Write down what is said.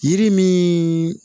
Yiri min